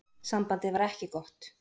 Sambandið var ekki gott.